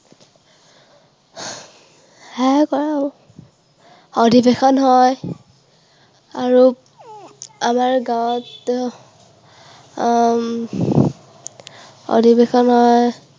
সেয়াই কৰে আৰু। অধিৱেশন হয়। আৰু আমাৰ গাঁৱত উম অধিৱেশন হয়।